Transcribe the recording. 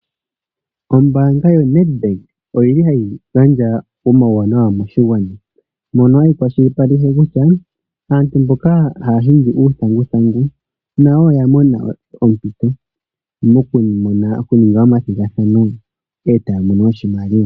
Ombaanga yoNEDBANK oyili hayi gandja omauwanawa moshigwana mono kwashipaleke kutya aantu mboka haa ningi uuthanguthangu nayo oya mona ompito moku ninga omathigathano eta mono oshimaliwa.